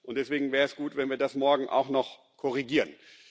Deswegen wäre es gut, wenn wir das morgen auch noch korrigieren.